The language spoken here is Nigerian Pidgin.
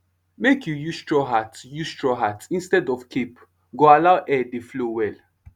make you use straw hat use straw hat instead of cape go allow air dey flow well